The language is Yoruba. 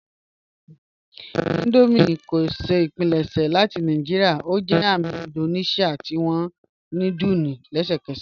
Indomie kò pílẹ̀ṣẹ́ láti Naijíríà; ó jẹ́ àmì Índóníṣíà tí awọn núdùlù lẹ́sẹkẹ́sẹ́.